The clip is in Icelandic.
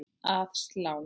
Að slá?